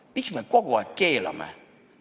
Miks me kogu aeg keelame?